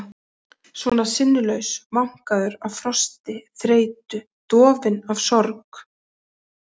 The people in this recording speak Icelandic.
Svona sinnulaus, vankaður af frosti, þreytu, dofinn af sorg.